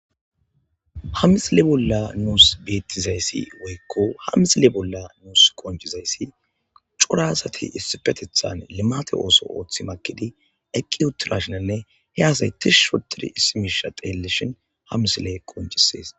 hamisile bolla nuus beettizayssi woykko hamisile bolla nuus qonjizayssi curasati issipetethan limate ooso ooththi makidi eqqi uttura shinanne he asaytish shoturi issimisha teellishin hamisile qonjissees